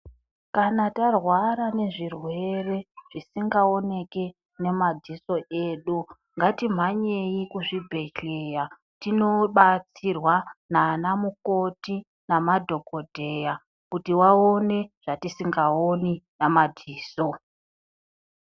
Kana tarwara nezvirwere zvingaoneke nemadziso edu, ngatimhanyei kuzvibhedhleya, tinobatsirwa nanamukoti nemadhokodheya, kuti vaone zvatisingaoni namadziso.